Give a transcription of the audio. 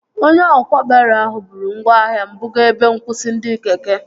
Onye ọkwá baro ahụ bụrụ ngwaahịa m buga ebe nkwụsị ndị keke